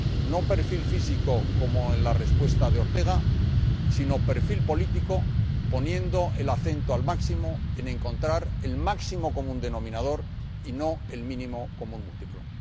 No perfil físico, como en la respuesta de Ortega, sino perfil político, haciendo especial hincapié en encontrar el máximo común denominador y no el mínimo común múltiplo.